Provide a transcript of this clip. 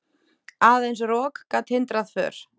Aðeins rok gat hindrað för.